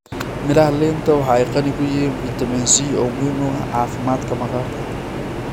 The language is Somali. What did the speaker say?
Miraha liinta waxa ay qani ku yihiin fitamiin C oo muhiim u ah caafimaadka maqaarka.